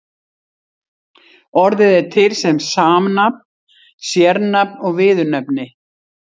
Orðið er til sem samnafn, sérnafn og viðurnefni.